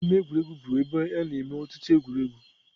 Ama egwuregwu bụ ebe a na-eme ọtụtụ egwuregwu.